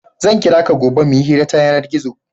Zan kira ka gobe mu yi hira ta yanar-gizo.